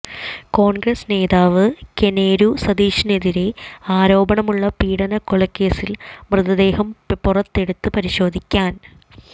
കോൺഗ്രസ് നേതാവ് കൊനേരു സതീഷിനെതിരെ ആരോപണമുള്ള പീഡനക്കൊലക്കേസിൽ മൃതദേഹം പുറത്തെടുത്ത് പരിശോധിക്കാൻ